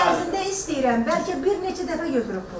Bir il ərzində istəyirəm, bəlkə bir neçə dəfə götürüb pul.